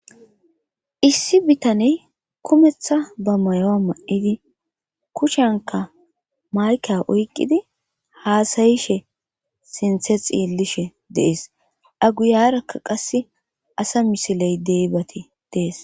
issi bitaney kumeththa ba mayoa ma7idi kushenka mayke oykqidi haasayishe sinthe xiillishe dees aguyarakka qasse asa misiley deybati dees